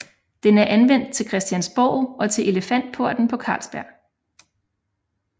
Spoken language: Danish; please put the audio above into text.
Den er anvendt til Christiansborg og til Elefantporten på Carlsberg